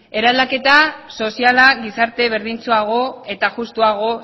eraldaketa soziala gizarte berdintsuago eta justuago